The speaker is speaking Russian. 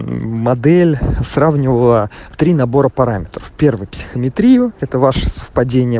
модель сравнивала три набора параметров первое писихиатрию это первое ваше совпадение